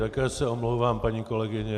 Také se omlouvám, paní kolegyně.